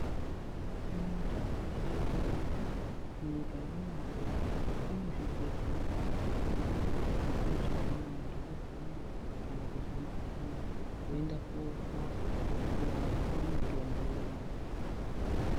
Mundau metino gara mu nyika ye maroro mune zvibhedhlera zvakawanda zvekuti kana vantu varwara kana kuzwa mu kuhlani voenda korapwa vopona vopuwa mutombo vomwa.